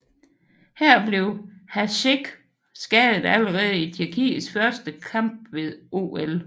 Her blev Hašek skadet allerede i Tjekkiets første kamp ved OL